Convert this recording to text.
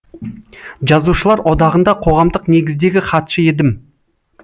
жазушылар одағында қоғамдық негіздегі хатшы едім